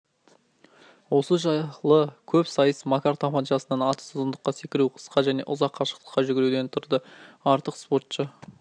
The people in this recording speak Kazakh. осы жылы көпсайыс макар тапаншасынан атыс ұзындыққа секіру қысқа және ұзақ қашықтыққа жүгіруден тұрды артық спортшы